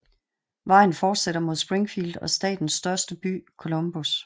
Vejen fortsætter mod Springfield og statens største by Columbus